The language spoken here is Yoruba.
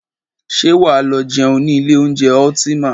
Ṣé wà á lọ jẹun ní ilé oúnjẹ Ultima?